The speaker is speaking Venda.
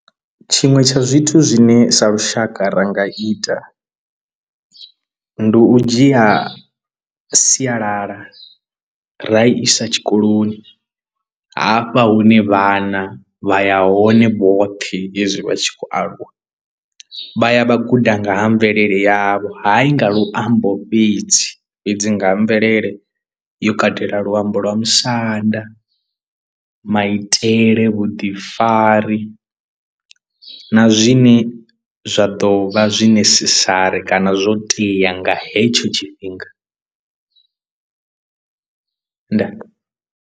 Tshiṅwe tsha zwithu zwine sa lushaka ra nga ita ndi u dzhia sialala ra isa tshikoloni hafha hune vhana vha ya hone vhoṱhe hezwi vha tshi khou aluwa vha ya vha guda nga ha mvelele yavho hayi nga luambo fhedzi fhedzi nga ha mvelele yo katela luambo lwa musanda, maitele, vhuḓifari na zwine zwa ḓo vha zwi necessary kana zwo tea nga hetsho tshifhinga ndaa.